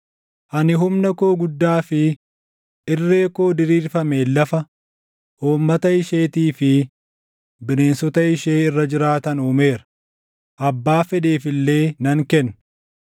Ani humna koo guddaa fi irree koo diriirfameen lafa, uummata isheetii fi bineensota ishee irra jiraatan uumeera; abbaa fedheef illee nan kenna.